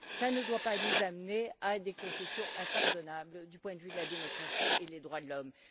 Cela ne doit pas nous amener à des concessions impardonnables du point de vue de la démocratie et des droits de l'homme.